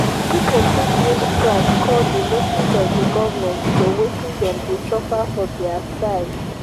pipo fit use strike call di notice of di government to wetin dem de suffer for their side